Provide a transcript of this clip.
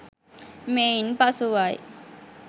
මෙයින් පසුවයි.